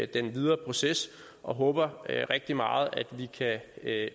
den videre proces og håber rigtig meget at